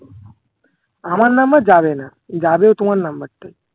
আমার number যাবে না যাবে ও তোমার number টাই